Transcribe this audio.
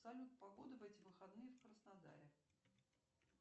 салют погода в эти выходные в краснодаре